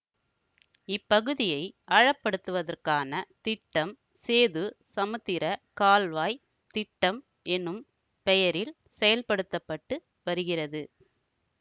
இப்பகுதியை ஆழப்படுத்துவதற்கான திட்டம் சேது சமுத்திரக் கால்வாய் திட்டம் எனும் பெயரில் செயல்படுத்த பட்டு வருகிறது